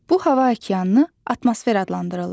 Bu hava okeanını atmosfer adlandırırlar.